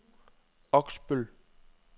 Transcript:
Oksbøl